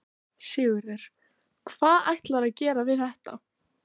Sigurður: Hvað ætlarðu að gera við þetta?